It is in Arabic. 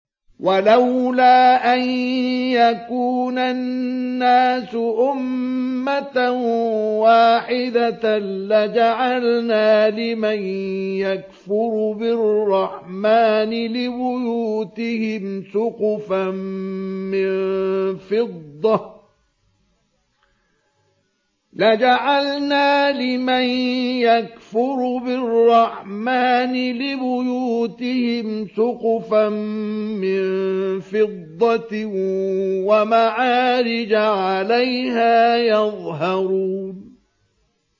وَلَوْلَا أَن يَكُونَ النَّاسُ أُمَّةً وَاحِدَةً لَّجَعَلْنَا لِمَن يَكْفُرُ بِالرَّحْمَٰنِ لِبُيُوتِهِمْ سُقُفًا مِّن فِضَّةٍ وَمَعَارِجَ عَلَيْهَا يَظْهَرُونَ